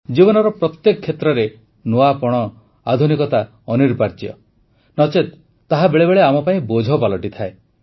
ଜୀବନର ପ୍ରତ୍ୟେକ କ୍ଷେତ୍ରରେ ନୂଆପଣ ଆଧୁନିକତା ଅନିବାର୍ଯ୍ୟ ନଚେତ୍ ତାହା ବେଳେବେଳେ ଆମ ପାଇଁ ବୋଝ ପାଲଟିଯାଏ